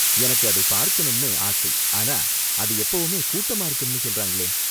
எனக்கு அதை பார்க்கனும்னு ஆசை, ஆனா, அது எப்பவுமே கூட்டமா இருக்கும்னு சொல்றாங்களே.